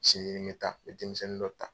Siɲɛ ye ta n bɛ denmisɛnnin dɔ taa.